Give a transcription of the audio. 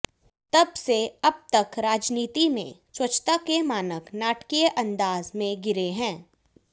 तब से अब तक राजनीति में स्वच्छता के मानक नाटकीय अंदाज में गिरे हैं